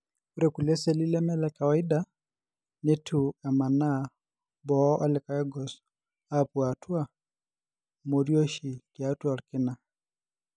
Ore kulie seli leme lekawaida netu emaana boo olikae gos apuo atua morioshi tiatua olkina.